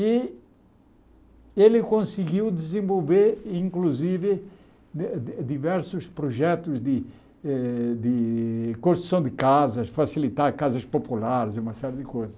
E ele conseguiu desenvolver, inclusive, di di diversos projetos de eh de construção de casas, facilitar casas populares, e uma série de coisas.